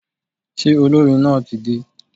Ṣé olórin náà tí dé?